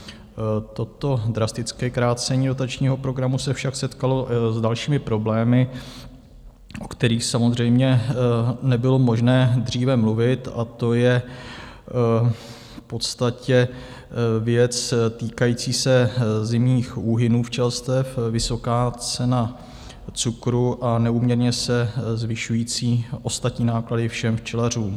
Toto drastické krácení dotačního programu se však setkalo s dalšími problémy, o kterých samozřejmě nebylo možné dříve mluvit, a to je v podstatě věc týkající se zimních úhynů včelstev, vysoká cena cukru a neúměrně se zvyšující ostatní náklady všem včelařům.